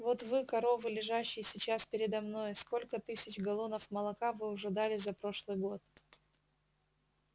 вот вы коровы лежащие сейчас передо мной сколько тысяч галлонов молока вы уже дали за прошлый год